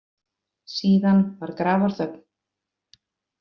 Síðan var grafarþögn.